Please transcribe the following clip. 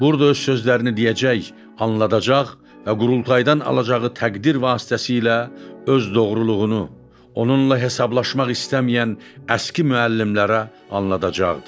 Burda öz sözlərini deyəcək, anladacaq və qurultaydan alacağı təqdir vasitəsilə öz doğruluğunu, onunla hesablaşmaq istəməyən əski müəllimlərə anladacaqdı.